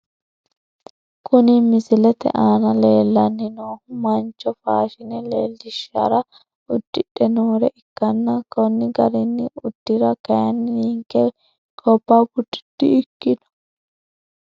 Kuni misilete aana leellanni noohu mancho faashine leellishshara uddidhe noore ikkanna, konni garinni uddira kayiinni ninke gobba bude di ikkino.